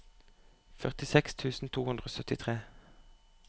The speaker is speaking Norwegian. førtiseks tusen to hundre og syttitre